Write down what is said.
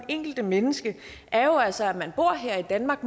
enkelte menneske er jo altså at man bor her i danmark